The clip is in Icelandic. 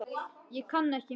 Ég kann ekki mikið.